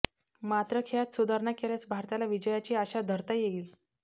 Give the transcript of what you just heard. मात्र खेळात सुधारणा केल्यास भारताला विजयाची आशा धरता येईल